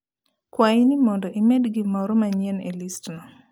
Kwayi ni mondo imed gimoro manyien e listno